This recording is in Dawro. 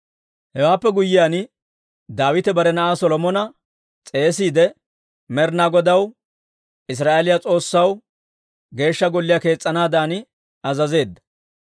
Hewaappe guyyiyaan, Daawite bare na'aa Solomona s'eesiide, Med'inaa Godaw Israa'eeliyaa S'oossaw Geeshsha Golliyaa kees's'anaadan azazeedda.